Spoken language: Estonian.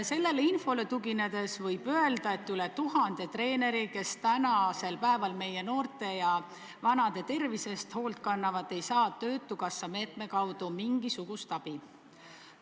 Sellele infole tuginedes võib öelda, et üle 1000 treeneri, kes meie noorte ja vanade tervise eest hoolt kannavad, ei saa töötukassa meetme kaudu mingisugust abi.